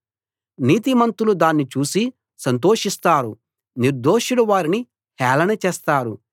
నీతిమంతులు దాన్ని చూసి సంతోషిస్తారు నిర్దోషులు వారిని హేళన చేస్తారు